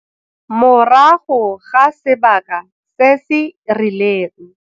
Morago ga sebaka se se rileng.